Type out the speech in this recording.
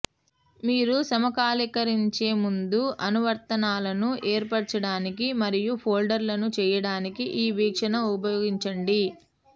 మీరు సమకాలీకరించే ముందు అనువర్తనాలను ఏర్పరచడానికి మరియు ఫోల్డర్లను చేయడానికి ఈ వీక్షణను ఉపయోగించండి